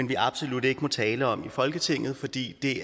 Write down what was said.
vi absolut ikke må tale om i folketinget fordi det